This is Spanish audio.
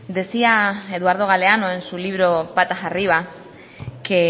decía eduardo galeano en su libro patas arriba que